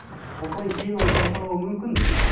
ол соны кейін оны қайталауы мүмкін бе